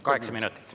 Kaheksa minutit.